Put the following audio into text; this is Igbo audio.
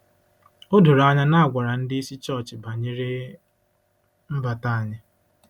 O doro anya na a gwara ndị isi chọọchị banyere mbata anyị.